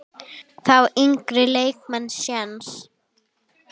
Fá yngri leikmenn séns?